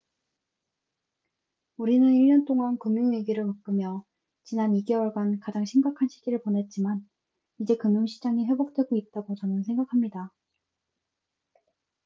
우리는 1년 동안 금융 위기를 겪으며 지난 2개월간 가장 심각한 시기를 보냈지만 이제 금융 시장이 회복되고 있다고 저는 생각합니다